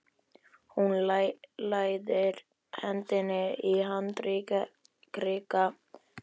Hún læðir hendinni í handarkrika minn.